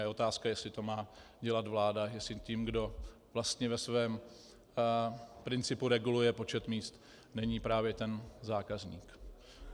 A je otázka, jestli to má dělat vláda, jestli tím, kdo vlastně ve svém principu reguluje počet míst, není právě ten zákazník.